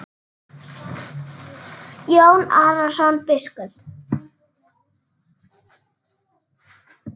Jón Arason biskup